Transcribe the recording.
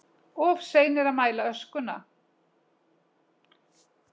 Of seinir að mæla öskuna